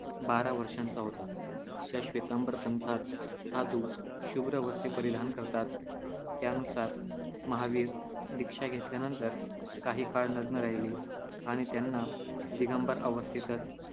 बारा वर्षांचा होता. ज्या श्वेतांबर पंथात साधू शुभ्र वस्त्रे परिधान करतात, त्यानुसार महावीर दीक्षा घेतल्यानंतर काही काळ नग्न राहिले आणि त्यांना दिगंबर अवस्थेतच